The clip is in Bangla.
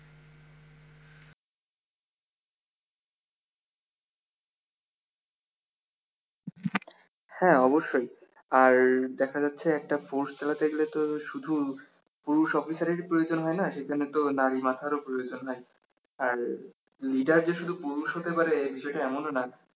হ্যা অবশ্যই আর আর দেখা যাচ্ছে একটা force চালাতে গেলে তো শুধু পুরুষ অফিসারেরই প্রয়োজন হয় না সেজন্য তো নারী মাথার উপর ওজন্য উম leader যে শুধু পুরুষ হতে পারে এ বিষয় টা এমনও না